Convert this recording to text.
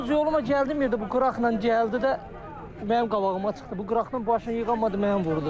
Öz yoluma gəldiyim yerdə bu qıraqla gəldi də mənim qabağıma çıxdı, bu qıraqdan başını yığa bilmədi məni vurdu.